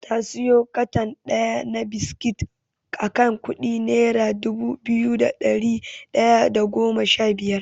Ta siyo katon ɗaya na biskit akan kuɗi nera dubu biyu da ɗari ɗaya da goma shabiyar.